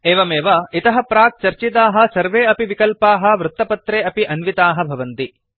एवमेव इतः प्राक् चर्चिताः सर्वे अपि विकल्पाः वृत्तपत्रे अपि अन्विताः भवन्ति